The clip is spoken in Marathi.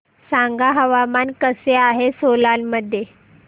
सांगा हवामान कसे आहे सोलान मध्ये